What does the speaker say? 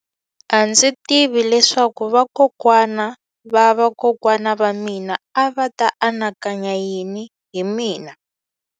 A ndzi tivi leswaku vakokwana-va-vakokwana va mina a va ta anakanya yini hi mina.